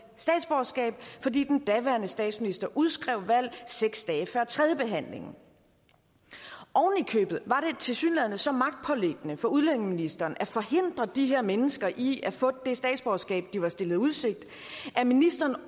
statsborgerskab fordi den daværende statsminister udskrev valg seks dage før tredjebehandlingen ovenikøbet var det tilsyneladende så magtpåliggende for udlændingeministeren at forhindre de her mennesker i at få det statsborgerskab de var stillet i udsigt at ministeren